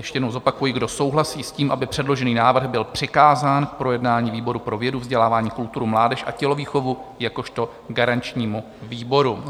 Ještě jednou zopakuji: Kdo souhlasí s tím, aby předložený návrh byl přikázán k projednání výboru pro vědu, vzdělávání, kulturu, mládež a tělovýchovu jakožto garančnímu výboru?